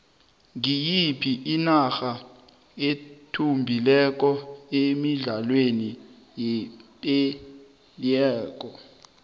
ngiyiphi inarda ethumbileko emidlalweni yepelaueke